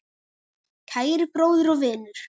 Kæri bróðir og vinur.